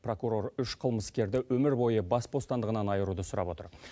прокурор үш қылмыскерді өмір бойы бас бостандығынан айыруды сұрап отыр